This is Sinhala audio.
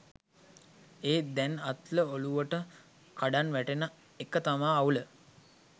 එත් දැන් අතල් ඔළුවට කඩන් වැටෙන එකතමා අවුල